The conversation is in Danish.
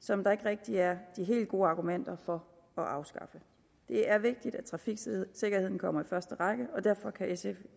som der ikke rigtig er de helt gode argumenter for at afskaffe det er vigtigt at trafiksikkerheden kommer i første række og derfor kan sf